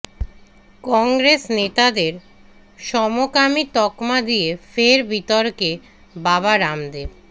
কংগ্রেস নেতাদের সমকামী তকমা দিয়ে ফের বিতর্কে বাবা রামদেব